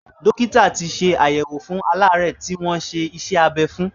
Dọ́kítà tì ṣàyẹ̀wò fún aláàárẹ̀ tí wọ́n ṣe iṣẹ́-abẹ́ fún